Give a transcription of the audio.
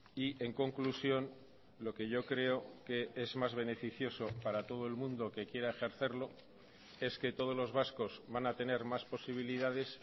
y en conclusión lo que yo creo que es más beneficioso para todo el mundo que quiera ejercerlo es que todos los vascos van a tener más posibilidades